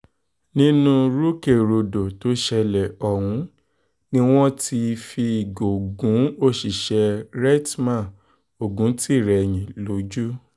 nínú rúkèrúdò tó ṣẹlẹ̀ ọ̀hún ni wọ́n ti ti fìgò gún òṣìṣẹ́ rstma oguntìrẹrẹhìn lójú